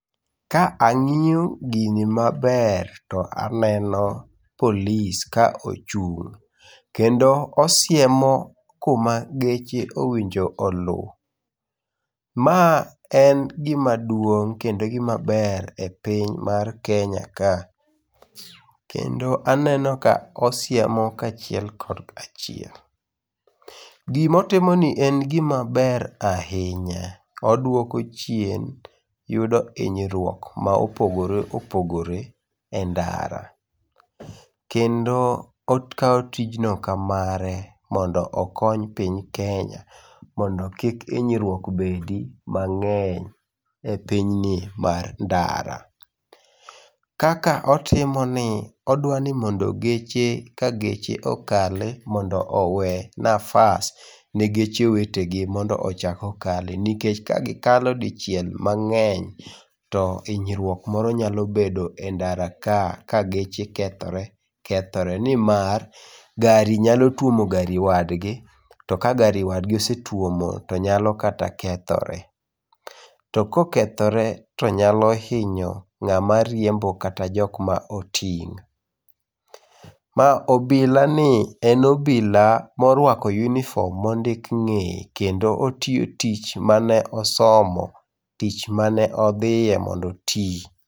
Ka ang'iyo gini maber to aneno polis ka ochung' kendo osiemo kuma geche owinjo oluw. Ma en gimaduong' kendo gimaber e piny mar Kenya ka . Kendo aneno ka osiemo kaachiel kod achiel. Gimotimo ni en gimaber ahinya. Odwoko chien yudo hinyruok ma opogore opogore e ndara. Kendo okawo tijno ka mare, mondo okony Piny Kenya mondo kik hinyruok obedi mang'eny e pinyni mar ndara. Kaka otimoni, odwa ni mondo geche ka geche okali mondo owe nafas ne geche wetegi mondo ochak okali, nikech kagikalo dichiel mang'eny, to hinyruok moro nyalo bedo e ndara ka, ka geche kethore kethore nimar ,gari nyalo tuomo gari wadgi, to ka gari[c]s wadgi osetuomo to nyalo kata kethore. To kokethore to nyalo hinyo ng'ama riembo kata jok ma oting'. Ma obilani en obila morwako uniform mondik ng'eye kendo otiyo tich mane osomo, tich mane odhiye mondo oti.